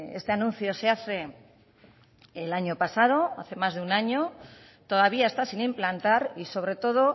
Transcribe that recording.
este anuncio se hace el año pasado hace más de un año todavía está sin implantar y sobre todo